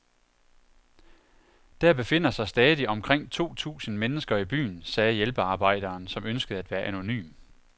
Der befinder sig stadig omkring to tusind mennesker i byen, sagde hjælpearbejderen, som ønskede at være anonym.